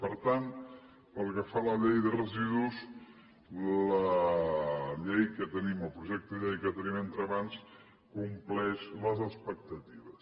per tant pel que fa a la llei de residus la llei que tenim el projecte de llei que tenim entre mans compleix les expectatives